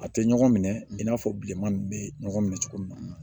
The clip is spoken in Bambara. A tɛ ɲɔgɔn minɛ i n'a fɔ bilenman ninnu bɛ ɲɔgɔn minɛ cogo min na